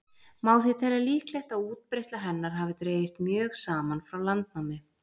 Má því telja líklegt að útbreiðsla hennar hafi dregist mjög saman frá landnámi.